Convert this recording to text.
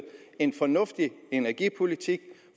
en fornuftig energipolitik